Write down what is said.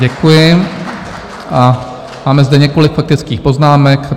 Děkuji a máme zde několik faktických poznámek.